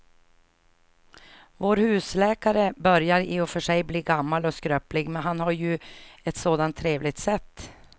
Vår husläkare börjar i och för sig bli gammal och skröplig, men han har ju ett sådant trevligt sätt!